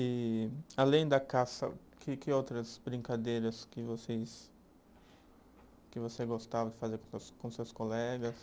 E, além da caça, que que outras brincadeiras que vocês, que você gostava de fazer com seus colegas?